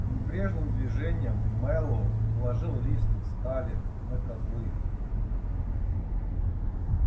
небрежным движением мэллоу положил лист стали на козлы